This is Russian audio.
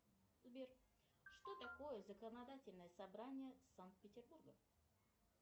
сбер что такое законодательное собрание санкт петербурга